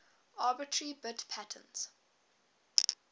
arbitrary bit patterns